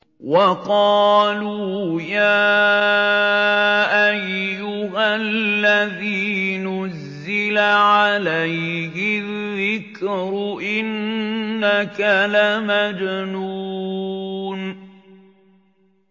وَقَالُوا يَا أَيُّهَا الَّذِي نُزِّلَ عَلَيْهِ الذِّكْرُ إِنَّكَ لَمَجْنُونٌ